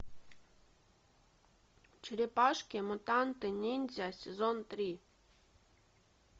черепашки мутанты ниндзя сезон три